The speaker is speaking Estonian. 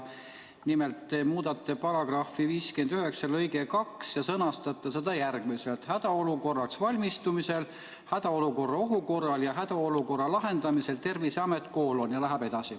Nimelt, te muudate § 59 lõiget 2 ja sõnastate selle järgmiselt: "Hädaolukorraks valmistumisel, hädaolukorra ohu korral ja hädaolukorra lahendamisel Terviseamet: ...